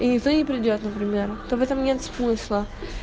и никто не придёт например то в этом нет смысла